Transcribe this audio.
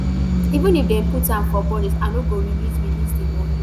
even if dem put am for budget i no go release release di moni